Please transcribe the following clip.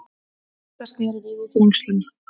Rúta snéri við í Þrengslum